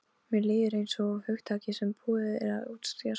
Mér líður einsog hugtaki sem búið er að útjaska.